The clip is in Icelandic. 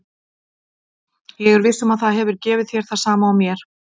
Ég er viss um að það hefur gefið þér það sama og mér.